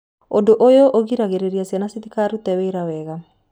Ũndũ ũyũ ũgiragĩrĩria ciĩga citikarute wĩra wega.